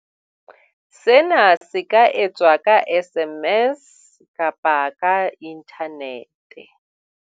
Sena se ka etswa ka SMS kapa ka inthanete.